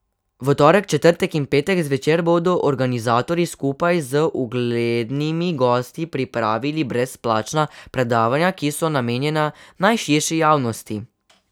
V torek, četrtek in petek zvečer bodo organizatorji skupaj z uglednimi gosti pripravili brezplačna predavanja, ki so namenjena najširši javnosti.